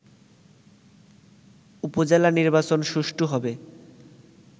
উপজেলা নির্বাচন সুষ্ঠু হবে